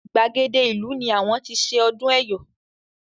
Gbàgede ìlú ní àwọn ti ṣe ọdún Ẹ̀yọ̀.